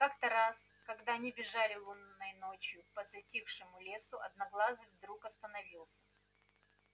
как то раз когда они бежали лунной ночью по затихшему лесу одноглазый вдруг остановился